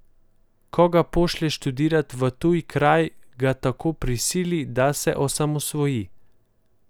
Ko ga pošlje študirat v tuj kraj, ga tako prisili, da se osamosvoji.